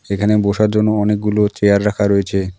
এখানে বসার জন্য অনেকগুলো চেয়ার রাখা রয়েছে।